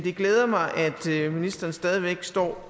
glæder mig at ministeren stadig væk står